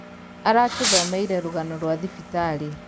Aratūthomeire rūgano rwa thibitarī